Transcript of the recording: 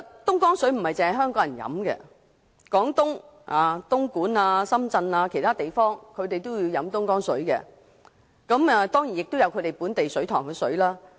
東江水並非只供港人飲用，廣東省東莞和深圳等地除在當地設有水塘外，亦有購入東江水。